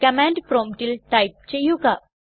command പ്രോമ്പ്റ്റിൽ type ചെയ്യുക